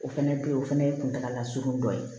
O fɛnɛ bɛ ye o fana ye kuntagala surunnin dɔ ye